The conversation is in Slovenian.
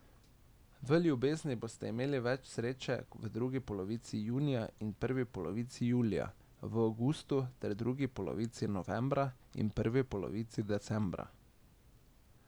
V ljubezni boste imeli več sreče v drugi polovici junija in prvi polovici julija, v avgustu ter v drugi polovici novembra in prvi polovici decembra.